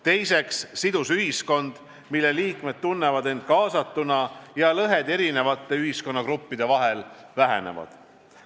Teiseks, sidus ühiskond, mille liikmed tunnevad end kaasatuna ja lõhed erinevate ühiskonnagruppide vahel vähenevad.